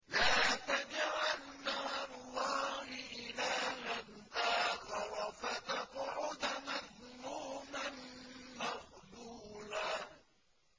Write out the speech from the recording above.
لَّا تَجْعَلْ مَعَ اللَّهِ إِلَٰهًا آخَرَ فَتَقْعُدَ مَذْمُومًا مَّخْذُولًا